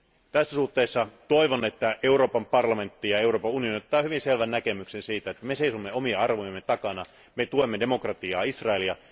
Tässä suhteessa toivon, että Euroopan parlamentti ja Euroopan unioni antavat hyvin selvän näkemyksen siitä, että me seisomme omien arvojemme takana. Me tuemme demokratiaa ja Israelia.